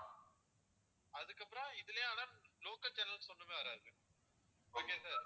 அதுக்கப்பறம் இதுலேயும் ஆனா local channels ஒண்ணுமே வராது okay sir